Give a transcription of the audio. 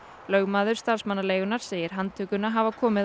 lögmaður starfsmannaleigunnar segir handtökuna hafa komið